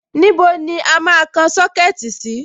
Níbo ni a máa kan Sọ́kẹ̀tì náà sí?